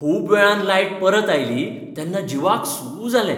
खूब वेळान लायट परत आयली तेन्ना जिवाक सूsss जालें.